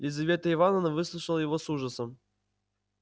лизавета ивановна выслушала его с ужасом